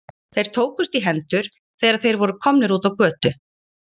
Þeir tókust í hendur, þegar þeir voru komnir út á götu.